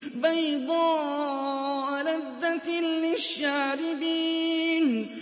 بَيْضَاءَ لَذَّةٍ لِّلشَّارِبِينَ